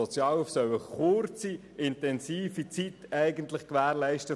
Die Sozialhilfe soll eine kurze, intensive Zeit der Soforthilfe gewährleisten.